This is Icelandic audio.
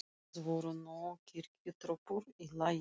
Það voru nú kirkjutröppur í lagi.